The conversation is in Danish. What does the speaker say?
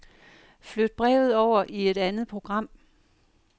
Flyt brevet over i et andet program.